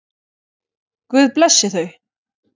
Guð blessi þau.